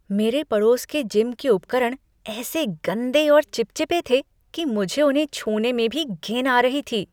मेरे पड़ोस के जिम के उपकरण ऐसे गंदे और चिपचिपे थे कि मुझे उन्हें छूने में भी घिन आ रही थी।